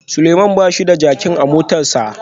Suleman bashi da jakin a motarsa